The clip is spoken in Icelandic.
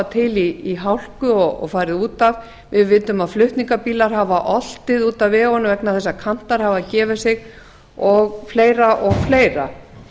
til í hálku og farið út af við vitum að flutningabílar hafa oltið út af vegunum vegna þess að kantar hafa gefið sig og fleira og fleira